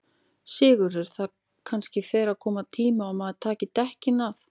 Sigurður: Það kannski fer að koma tími á að maður taki dekkin af?